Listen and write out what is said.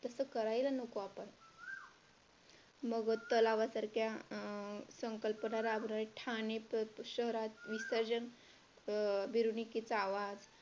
तसं करायला नको आपण मग तलावासारख्या अं संकल्पना राबवायच्या ठाणे शहरात विसर्जन अं मिरवणुकीचा आवाज